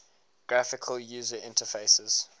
graphical user interfaces